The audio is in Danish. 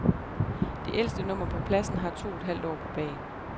Det ældste nummer på pladen har to et halvt år på bagen.